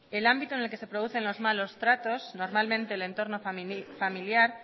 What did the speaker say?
el ámbito en el que se producen los malos tratos normalmente el entorno familiar